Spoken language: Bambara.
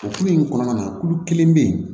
O kulu in kɔnɔna na kulu kelen bɛ yen